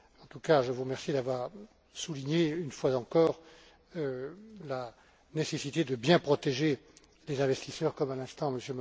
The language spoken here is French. En tout cas, je vous remercie d'avoir souligné, une fois encore, la nécessité de bien protéger les investisseurs, comme à l'instant M.